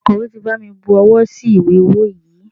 Akọ̀wé ti bami bu owó sí ìwé ọwó yìí.